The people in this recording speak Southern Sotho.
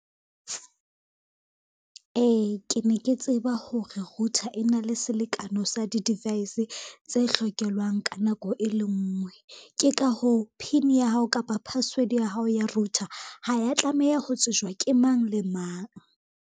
Ee, ke ne ke tseba hore router e na le selekano sa di-device tse hlokelwang ka nako e le ngwe. Ke ka hoo, PIN ya hao kapa password ya hao ya router ha ya tlameha ho tsejwa ke mang le mang.